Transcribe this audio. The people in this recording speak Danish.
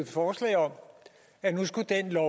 forslag om at nu skulle den lov